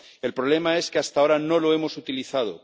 El problema es que, hasta ahora, no lo hemos utilizado.